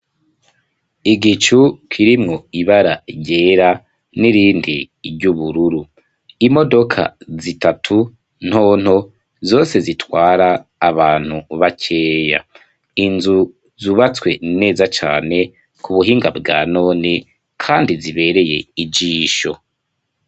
Igicu kirimwo ibara ryera n'irindi ryubururu, imodoka zitatu ntonto zose zitwara abantu bakeya, inzu zubatswe neza cane kubuhinga bwanone kandi zibereye ijisho.